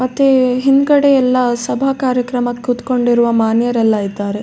ಮತ್ತೆ ಹಿಂದ್ ಗಡೆ ಎಲ್ಲ ಸಭಾ ಕಾರ್ಯಕ್ರಮಕ್ಕ್ ಕುತ್ಕೊಂಡಿರುವ ಮಾನ್ಯರೆಲ್ಲಾ ಇದ್ದಾರೆ .